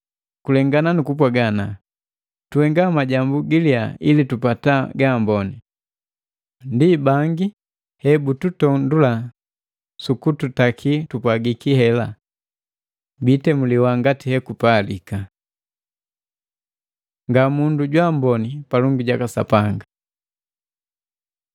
Kulengana nukupwaga ana, tuhenga majambu giliya ili tupata gaamboni! Ndi bangi hebututondula sukututaki tupwagiki hela. Biitemuliwa ngati hekupalika. Ngamundu jwaamboni palongi jaka Sapanga